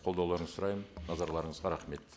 қолдауларыңызды сұраймын назарларыңызға рахмет